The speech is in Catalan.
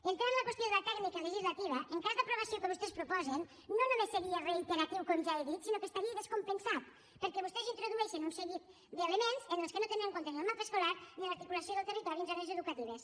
entrar en la qüestió de la tècnica legislativa en cas d’aprovació del que vostès proposen no només seria reiteratiu com ja he dit sinó que estaria descompensat perquè vostès introdueixen un seguit d’elements en els quals no tenen en compte ni el mapa escolar ni l’articulació del territori en zones educatives